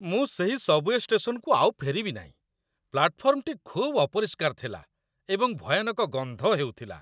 ମୁଁ ସେହି ସବ୍‌ୱେ ଷ୍ଟେସନକୁ ଆଉ ଫେରିବି ନାହିଁ। ପ୍ଲାଟଫର୍ମଟି ଖୁବ୍ ଅପରିଷ୍କାର ଥିଲା ଏବଂ ଭୟାନକ ଗନ୍ଧ ହେଉଥିଲା।